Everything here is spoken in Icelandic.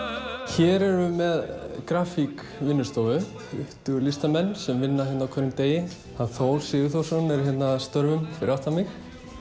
hér erum við með grafík vinnustofu það tuttugu listamenn sem vinna hérna á hverjum degi hann Þór Sigurþórsson er hérna að störfum fyrir aftan mig